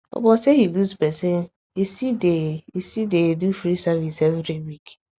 upon say he lose person e still dey e still dey do free service every week